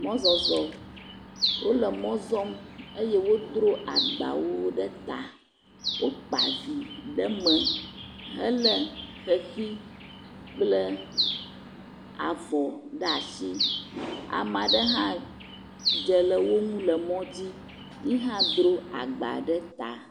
Mɔzɔzɔ, wole mɔ zɔm eye wodro agbawo ɖe ta. Wokpa vi ɖe me hele ʋeʋi kple avɔ ɖe asi. Ame aɖe hã dze le woŋu le mɔ dzi. Yehã dro agba ɖe ta.